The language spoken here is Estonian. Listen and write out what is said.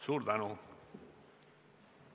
Suur tänu!